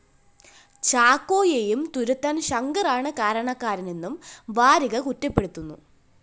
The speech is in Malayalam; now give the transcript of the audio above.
ചാക്കോയേയും തുരത്താന്‍ ശങ്കറാണ് കാരണക്കാരനെന്നും വാരിക കുറ്റപ്പെടുത്തുന്നു